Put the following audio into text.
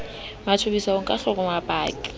mathobisa ho ka hloma paki